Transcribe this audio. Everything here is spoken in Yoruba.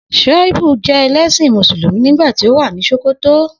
Shaibu jẹ ẹlẹ́ṣin Mùsùlùmí nígbà tí ó wà ní Sòkòtò